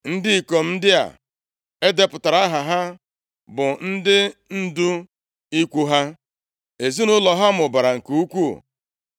Ndị ikom ndị a e depụtara aha ha bụ ndị ndu ikwu ha. Ezinaụlọ ha mụbara nke ukwuu,